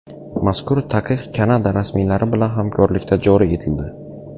Mazkur taqiq Kanada rasmiylari bilan hamkorlikda joriy etildi.